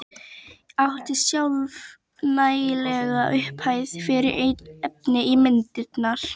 Átti sjálf nægilega upphæð fyrir efni í myndirnar.